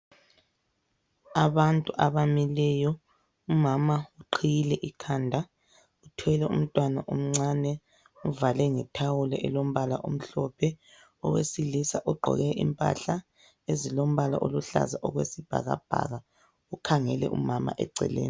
Abantu abamileyo umama uqhiyile ikhanda uthwele umntwana omncane umuvale ngethawulo elombala omhlophe owesilisa ugqoke impahla ezilombala oluhlaza okwesibhaka bhaka ukhangele umama eceleni.